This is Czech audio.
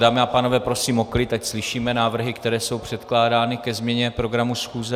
Dámy a pánové, prosím o klid, ať slyšíme návrhy, které jsou předkládány ke změně programu schůze.